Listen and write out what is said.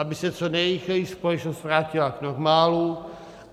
Aby se co nejrychleji společnost vrátila k normálu.